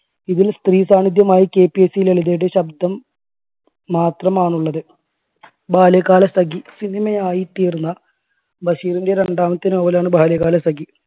ഇതിൽ സ്ത്രീ സാന്നിധ്യമായി KPSC ലളിതയുടെ ശബ്ദം മാത്രമാണ് ഉള്ളത്. ബാല്യകാലസഖി cinema യായി തീർന്ന ബഷീറിൻറെ രണ്ടാമത്തെ നോവലാണ് ബാല്യകാലസഖി.